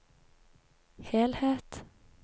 helhet